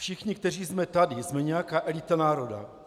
Všichni, kteří jsme tady, jsme nějaká elita národa.